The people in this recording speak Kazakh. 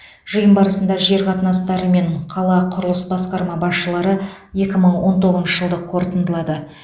жиын барысында жер қатынастары мен қала құрылыс басқарма басшылары екі мың он тоғызыншы жылды қорытындылады